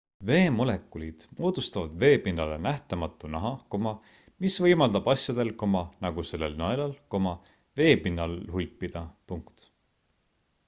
veemolekulid moodustavad veepinnale nähtamatu naha mis võimaldab asjadel nagu sellel nõelal veepinnal hulpida